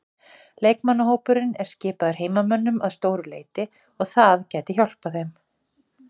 Leikmannahópurinn er skipaður heimamönnum að stóru leyti og það gæti hjálpað þeim.